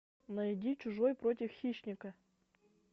найди чужой против хищника